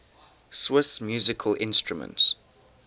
swiss musical instruments